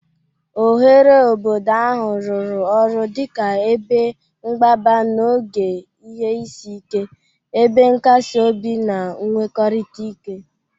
Oghere obodo ahụ rụrụ ọrụ dị ka ebe mgbaba n'oge ihe isi ike, ebe nkasi obi na nnwekọrịta ike.